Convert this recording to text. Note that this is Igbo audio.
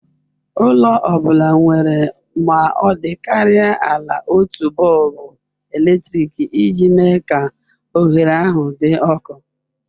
Ụlọ ọ bụla nwere ma ọ dịkarịa ala otu bọlbụ eletrik iji mee ka oghere ahụ dị ọkụ.